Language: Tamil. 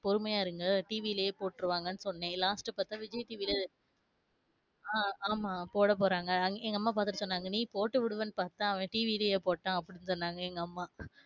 பொறுமையா இருங்க TV லையே போட்ருவாங்க சொன்னே last பாத்த விஜய் TV ல அஹ் ஆமா போடப்போறாங்க அதும் எங்க அம்மா பாத்துட்டு சொன்னாங்க நீ போட்டுவிடுவன்னு பாத்தா அவன் TV லையே போட்டான்.